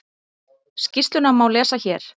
Skýrsluna má lesa hér